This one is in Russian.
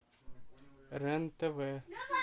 рен тв